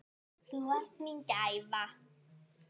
Þú varst mín gæfa.